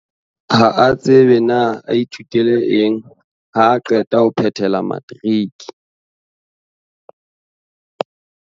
Ha a tsebe na a ithutele eng haa qeta ho phethela matriki.